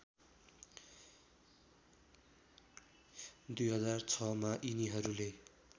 २००६ मा यिनीहरूले